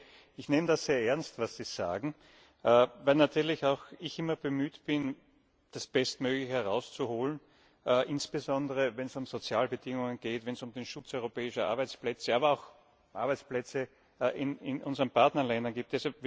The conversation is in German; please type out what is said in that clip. Herr Kollege, ich nehme das sehr ernst, was Sie sagen, weil natürlich auch ich immer bemüht bin, das Bestmögliche herauszuholen, insbesondere wenn es um Sozialbedingungen geht, wenn es um den Schutz europäischer Arbeitsplätze, aber auch von Arbeitsplätzen in unseren Partnerländern geht.